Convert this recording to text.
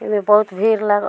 एमें बहुत भीड़ लागो --